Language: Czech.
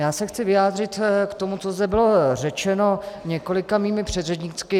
Já se chci vyjádřit k tomu, co zde bylo řečeno několika mými předřečníky.